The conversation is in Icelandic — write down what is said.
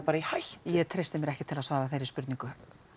í hættu ég treysti mér ekki til að svara þeirri spurningu